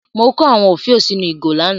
Mo kó àwọn òfiò sínú ìgò lánàá.